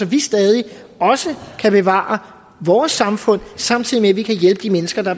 vi stadig også kan bevare vores samfund samtidig vi kan hjælpe de mennesker der